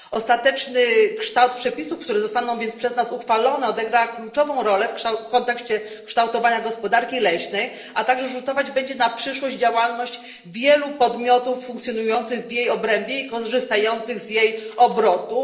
Ostateczny kształt przepisów, które zostaną więc przez nas uchwalone, odegra kluczową rolę w kontekście kształtowania gospodarki leśnej, a także rzutować będzie na przyszłość i działalność wielu podmiotów funkcjonujących w jej obrębie i korzystających z jej obrotów.